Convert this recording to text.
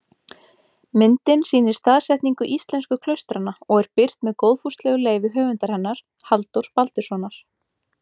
Myndin sýnir staðsetningu íslensku klaustranna og er birt með góðfúslegu leyfi höfundar hennar, Halldórs Baldurssonar.